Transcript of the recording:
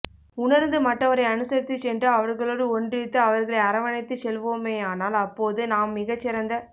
உணர்ந்து மற்றவரை அனுசரித்துச் சென்று அவர்களோடு ஒன்றித்து அவர்களை அரவணைத்துச் செல்வோமேயானால் அப் போது நாம் மிகச் சிறந்த